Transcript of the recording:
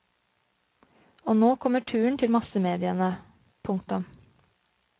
Og nå kommer turen til massemediene. punktum